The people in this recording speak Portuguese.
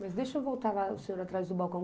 Mas deixa eu voltar o senhor atrás do balcão.